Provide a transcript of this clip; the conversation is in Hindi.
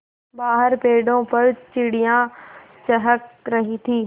बाहर पेड़ों पर चिड़ियाँ चहक रही थीं